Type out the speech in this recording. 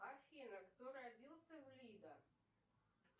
афина кто родился в лидо